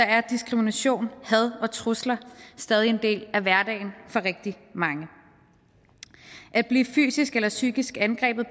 er diskrimination had og trusler stadig en del af hverdagen for rigtig mange at blive fysisk eller psykisk angrebet